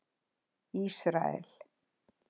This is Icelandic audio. Ísrael